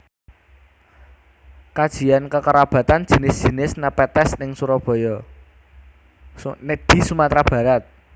Kajian kekerabatan jinis jinis Nepenthes di Sumatera Barat